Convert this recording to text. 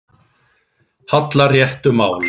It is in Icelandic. hallar réttu máli.